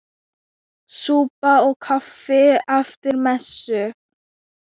Súpa og kaffi eftir messu.